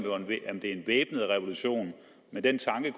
det er en væbnet revolution men den tanke